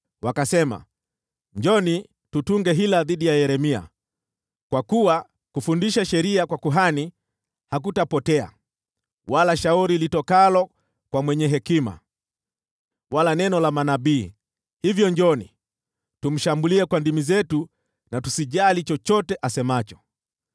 Wakasema, “Njooni, tutunge hila dhidi ya Yeremia; kwa kuwa kufundisha sheria kwa kuhani hakutapotea, wala shauri litokalo kwa mwenye hekima, wala neno la manabii. Hivyo njooni, tumshambulie kwa ndimi zetu na tusijali chochote asemacho.”